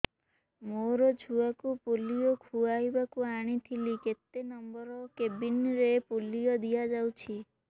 ମୋର ଛୁଆକୁ ପୋଲିଓ ଖୁଆଇବାକୁ ଆଣିଥିଲି କେତେ ନମ୍ବର କେବିନ ରେ ପୋଲିଓ ଦିଆଯାଉଛି